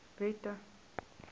wette